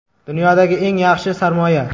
Dunyodagi eng yaxshi sarmoya .